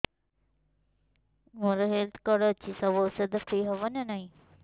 ମୋର health card ଅଛି ସବୁ ଔଷଧ ଫ୍ରି ହବ ନା ନାହିଁ